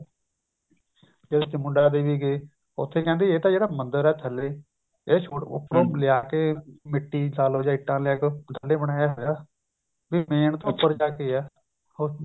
ਜਦ ਚਮੁੰਡਾ ਦੇਵੀ ਗਏ ਉੱਥੇ ਕਹਿੰਦੇ ਇਹ ਤਾਂ ਜਿਹੜਾ ਮੰਦਿਰ ਹੈ ਥੱਲੇ ਇਹ ਉੱਪਰੋਂ ਲਿਆ ਕੇ ਮਿੱਟੀ ਲਾ ਲਓ ਜਾਂ ਇੱਟਾਂ ਲਾ ਕੇ ਬਣਾਇਆ ਹੋਇਆ ਵੀ main ਉੱਪਰ ਜਾ ਕੇ ਆ ਹੋਰ